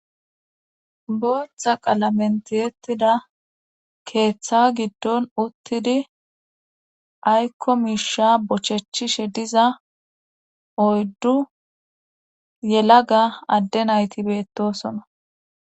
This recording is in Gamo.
Booththa qalamentehettida keeththa giddon uttidi aykko miisha bochechchishe diza oyddu yelaga adde nayti beettosona.